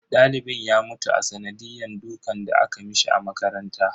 Dalibin ya mutu a sanadiyan dukan da aka mishi a makaranta.